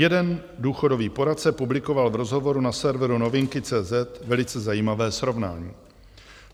Jeden důchodový poradce publikoval v rozhovoru na serveru Novinky.cz velice zajímavé srovnání.